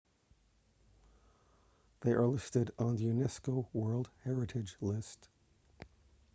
they are listed on the unesco world heritage list